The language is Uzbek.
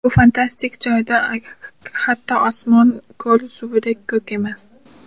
Bu fantastik joyda hatto osmon ko‘l suvidek ko‘k emas.